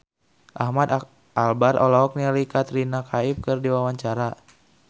Ahmad Albar olohok ningali Katrina Kaif keur diwawancara